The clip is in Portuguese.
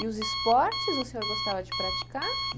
E os esportes, o senhor gostava de praticar?